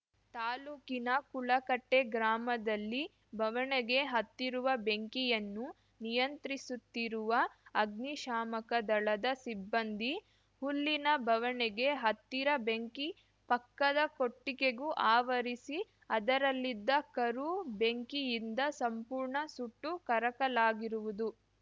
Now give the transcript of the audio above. ತಾಲೂಕಿನ ಕುಳಗಟ್ಟೆಗ್ರಾಮದಲ್ಲಿ ಬವಣೆಗೆ ಹತ್ತಿರುವ ಬೆಂಕಿಯನ್ನು ನಿಯಂತ್ರಿಸುತ್ತಿರುವ ಅಗ್ನಿಶಾಮಕ ದಳದ ಸಿಬ್ಬಂದಿ ಹುಲ್ಲಿನ ಬವಣೆಗೆ ಹತ್ತಿದ ಬೆಂಕಿ ಪಕ್ಕದ ಕೊಟ್ಟಿಗೆಗೂ ಅವರಿಸಿ ಅದರಲ್ಲಿದ್ದ ಕರು ಬೆಂಕಿಯಿಂದ ಸಂಪೂರ್ಣ ಸುಟ್ಟು ಕರಕಲಾಗಿರುವುದು